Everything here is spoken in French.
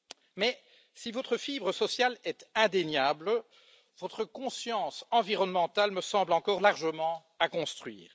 Mais si votre fibre sociale est indéniable, votre conscience environnementale me semble encore largement à construire.